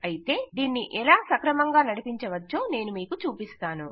అయితే దీన్ని ఎలా సక్రమంగా నడిపించవచ్చో నేను మీకు చూపిస్తాను